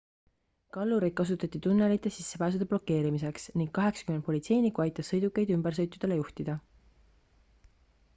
kallureid kasutati tunnelite sissepääsude blokeerimiseks ning 80 politseinikku aitas sõidukeid ümbersõitudele juhtida